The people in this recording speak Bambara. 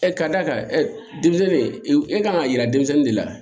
ka d'a kan denmisɛnnin e kan ka yira denmisɛnnin de la